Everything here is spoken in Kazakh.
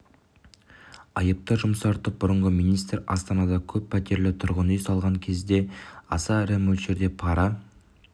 айыпты жұмсартып бұрынғы министр астанада көп пәтерлі тұрғын үй салған кезде аса ірі мөлшерде пара